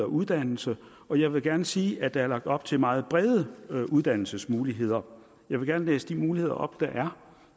uddannelse og jeg vil gerne sige at der er lagt op til meget brede uddannelsesmuligheder jeg vil gerne læse de muligheder op der er